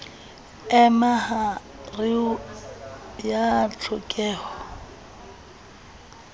e ma hareng ya ditlhokeho